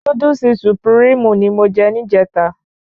Núdúsì Sùpìríìmù ni mo je ní ìjèta